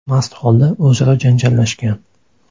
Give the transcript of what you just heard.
mast holda o‘zaro janjallashgan.